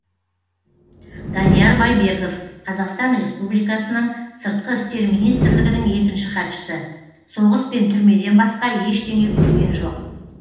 данияр байбеков қазақстан республикасының сыртқы істер министрлігінің екінші хатшысы соғыс пен түрмеден басқа ештеңе көрген жоқ